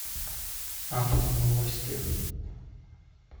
автоновости